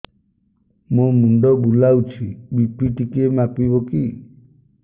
ମୋ ମୁଣ୍ଡ ବୁଲାଉଛି ବି.ପି ଟିକିଏ ମାପିବ କି